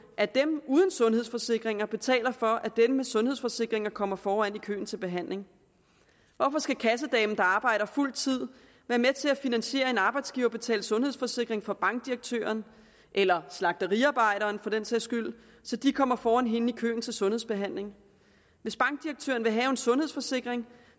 at dem uden sundhedsforsikringer betaler for at dem med sundhedsforsikringer kommer foran i køen til behandling hvorfor skal kassedamen der arbejder fuld tid være med til at finansiere en arbejdsgiverbetalt sundhedsforsikring for bankdirektøren eller slagteriarbejderen for den sags skyld så de kommer foran hende i køen til sundhedsbehandling hvis bankdirektøren vil have en sundhedsforsikring